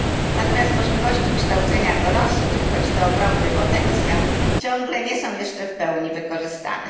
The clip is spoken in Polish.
Natomiast możliwości kształcenia dorosłych, choć to ogromny potencjał, ciągle nie są jeszcze w pełni wykorzystane.